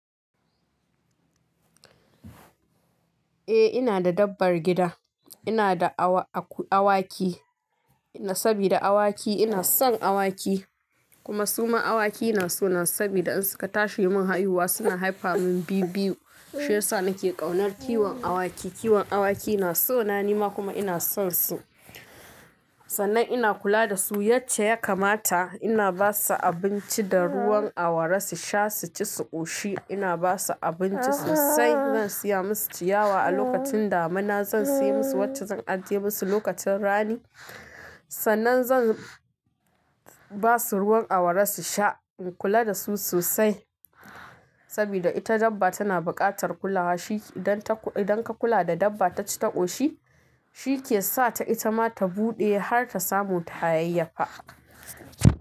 Eh ina da dabbar gida, ina da awaki sabida awaki ina son awaki kuma suma awaki ina so na sabida in suka tashi mun haihuwa suna haifa min biyu-biyu. Shi yasa nake ƙaunar kiwon awaki. Kiwon awaki na so na, ni ma kuma ina son su. Sannan ina kula da su yace ya kamata ina ba su abinci da ruwan awara su sha, su ci, su ƙoshi. Ina ba su abinci sosai. Zan saya musu ciyawa a lokacin damina, zan saya musu wacce zan ajiye musu lokacin rani. Sannan zan ba su ruwan awara su sha. In kula da su sosai sabida ita dabba tana buƙatar kulawa. Shi idan ka kula da dabba ta ci, ta ƙoshi shi ke sa ta ita ma ta buɗe har ta samu ta hayayyafa.